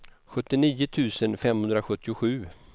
sjuttionio tusen femhundrasjuttiosju